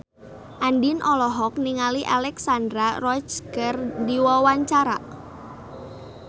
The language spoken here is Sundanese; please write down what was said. Andien olohok ningali Alexandra Roach keur diwawancara